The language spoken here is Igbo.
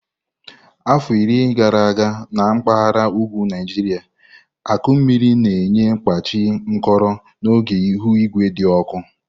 Afọ iri gara aga na mpaghara ugwu Naijiria akụ mmiri na-enye kpachi nkolo n'oge ihu igwe dị ọkụ.